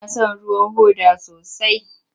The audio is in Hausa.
Ina son ruwan hoda sosai.